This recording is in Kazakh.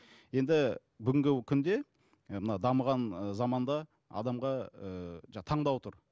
енді бүгінгі күнде ы мына дамыған ыыы заманда адамға ыыы таңдау тұр